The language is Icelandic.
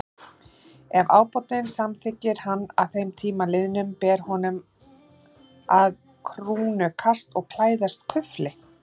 Ef ábótinn samþykkir hann að þeim tíma liðnum, ber honum að krúnurakast og klæðast kufli.